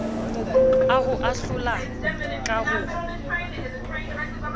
a ho ahlola ka ho